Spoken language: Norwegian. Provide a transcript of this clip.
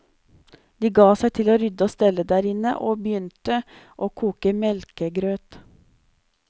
De ga seg til å rydde og stelle derinne, og begynte å koke melkegrøt.